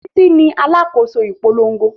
Títí ní alákòóso ìpolongo